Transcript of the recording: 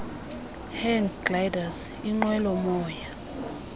hang gliders inqwelomoya